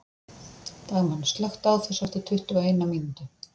Dagmann, slökktu á þessu eftir tuttugu og eina mínútur.